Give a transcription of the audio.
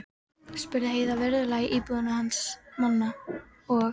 spurði Heiða virðulega í búðinni hans Manna, og